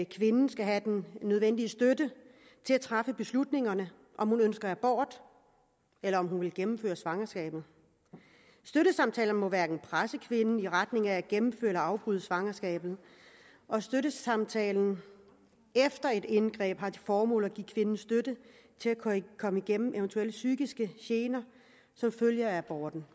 kvinden skal have den nødvendige støtte til at træffe beslutningen om hun ønsker abort eller om hun vil gennemføre svangerskabet støttesamtaler må hverken presse kvinden i retning af at gennemføre eller afbryde svangerskabet og støttesamtalen efter et indgreb har til formål at give kvinden støtte til at komme igennem eventuelle psykiske gener som følge af aborten